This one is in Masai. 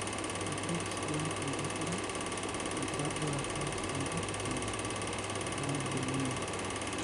ekiret si intobira engitaduata tontokitin najoolunye.